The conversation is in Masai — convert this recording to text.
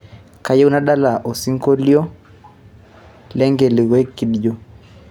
kayieu nadala to osinkolio le engelique kidjo